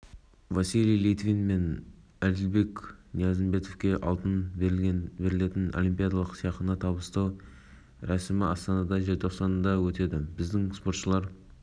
өтті құрылыс не жобалық ақаулар табылмады десе де констуркцияларды күшейту бағытында қосымша жұмыстар жасау бойынша